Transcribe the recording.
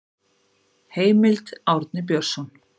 Heimild: Árni Björnsson.